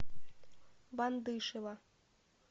вандышева